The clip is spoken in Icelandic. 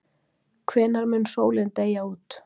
hvenær mun sólin deyja út